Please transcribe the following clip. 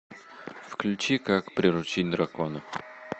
включи как приручить дракона